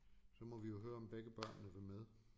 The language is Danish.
Så må vi jo høre om begge børnene vil med